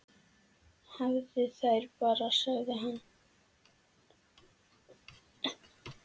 Hafðu þær bara, sagði hann.